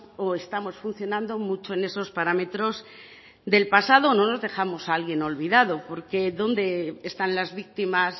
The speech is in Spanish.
o estamos funcionando mucho en esos parámetros del pasado o no nos dejamos a alguien olvidado porque dónde están las víctimas